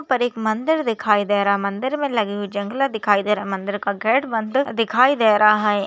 यहा पर एक मंदिर दिखाई दे रहा मंदिर मे लगी हुई जंगले दिखाई दे रहे मंदिर का गेट बनते दिखाई दे रहा है।